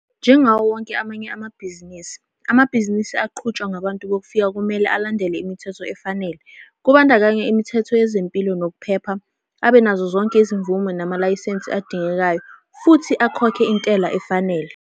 Njengawo wonke amanye amabhizinisi, amabhizinisi aqhutshwa ngabantu bokufika kumele alandele imithetho efanele, kubandakanya imithetho yezempilo nokuphepha, abe nazozonke izimvume namalayisensi adingekayo, futhi akhokhe intela efanele.